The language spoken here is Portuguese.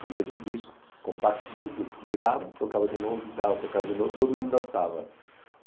o mesmo disco, compacto duplo, virava, tocava de novo, virava, tocava de novo, todo mundo dançava.